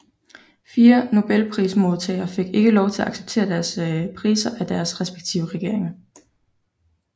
Fire Nobelprismodtagere fik ikke lov til at acceptere deres priser af deres respektive regeringer